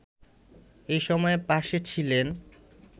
এ সময় পাশে ছিলেন